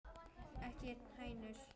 Ekki hænur?